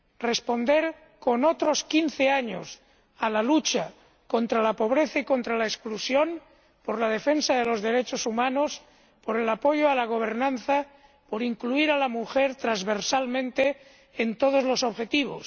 Responder con otros quince años a la lucha contra la pobreza y contra la exclusión por la defensa de los derechos humanos, por el apoyo a la gobernanza, por incluir a la mujer transversalmente en todos los objetivos.